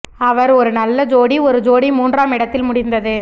அவர் ஒரு நல்ல ஜோடி ஒரு ஜோடி மூன்றாம் இடத்தில் முடிந்தது